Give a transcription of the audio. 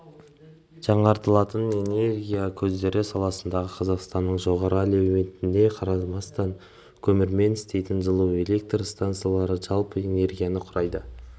жаңартылатын энергия көздері саласындағы қазақстанның жоғары әлеуетіне қарамастан көмірмен істейтін жылу электр стансалары жалпы энергияның құрайды